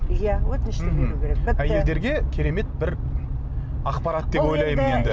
иә өтінішті беру керек әйелдерге керемет бір ақпарат деп ойлаймын енді